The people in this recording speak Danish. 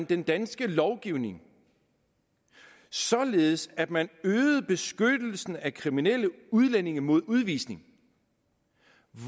den danske lovgivning således at man øgede beskyttelsen af kriminelle udlændinge mod udvisning